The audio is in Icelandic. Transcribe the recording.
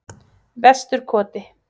Vesturkoti